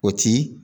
O ti